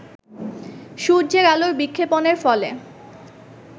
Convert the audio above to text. সূর্যের আলোর বিক্ষেপণের ফলে